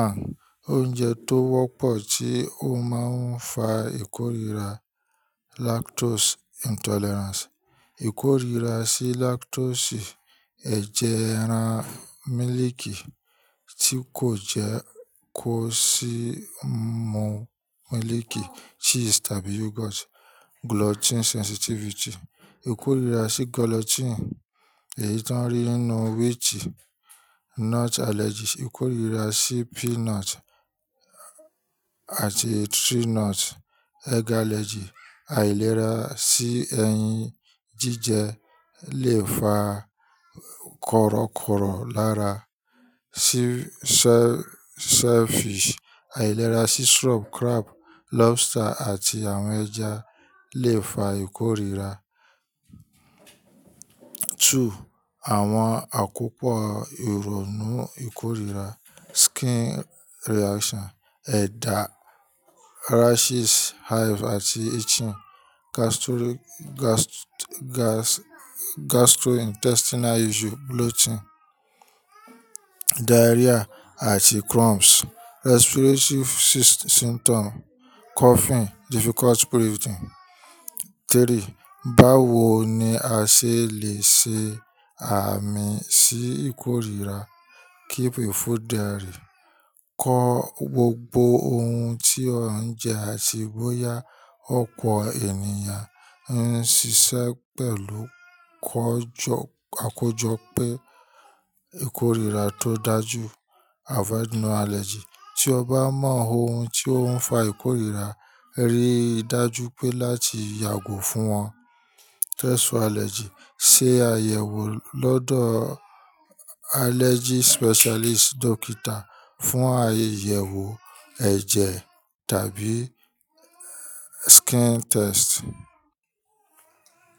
One, oúnjẹ tó wọ́pọ̀ tí ó máa ń fa ìkórira lactose intolerance. Ìkórira sí lactose, ejẹ́ ẹran, míliìkì tí kò jẹ́ kó sì mú míliìkì, cheese tàbí yogurt. Gluten sensitivity. Ìkórira sí gluten, èyí tó ń rí nínú wheat. Nut allergy. Ìkórira sí peanut àti tree nut. Egg allergy. Àìlera sí ẹyin jíjẹ lè fa korokoro lára. Shellfish. Àìlera sí shrimp, crab, lobster àti àwọn ẹja lè fa ìkórira. Two, àwọn àkópọ̀ ìrònú ìkórira. Skin reaction, ẹ̀dà, rashes, hives àti itching. Gastrointestinal issue, bloating, diarrhea àti cramps. Respiratory symptom, coughing, difficult breathing. Three, báwo ni a ṣe lè ṣe àmì sí ìkórira? Keep a food diary. Kọ gbogbo ohun tí o ń jẹ àti bóyá ọ̀pọ̀ ènìyàn ń ṣiṣẹ́ pẹ̀lú kọ́jọ, àkójọ pé ìkórira tó dájú. Avoid known allergens. Tí o bá mọ ohun tí ó ń fa ìkórira, rí dájú pé láti yàgò fún wọn. Test for allergies. Se àyẹ̀wò lọ́dọ̀ allergy specialist doctor fún àyẹ̀wò ẹ̀jẹ̀ tàbí skin test.